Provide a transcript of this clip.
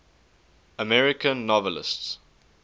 american novelists